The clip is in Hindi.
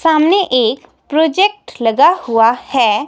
सामने एक प्रोजेक्ट लगा हुआ है.